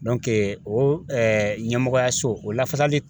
o ɲɛmɔgɔyaso o lafasali